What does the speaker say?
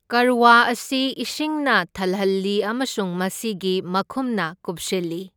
ꯀꯔꯋꯥ ꯑꯁꯤ ꯏꯁꯤꯡꯅ ꯊꯜꯍꯜꯂꯤ ꯑꯃꯁꯨꯡ ꯃꯁꯤꯒꯤ ꯃꯈꯨꯝꯅ ꯀꯨꯞꯁꯤꯜꯂꯤ꯫